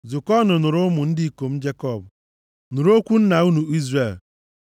“Zukọọnụ nụrụ, ụmụ ndị ikom Jekọb nụrụ okwu nna unu Izrel.